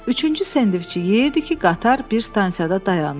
Üçüncü sendviçi yeyirdi ki, qatar bir stansiyada dayandı.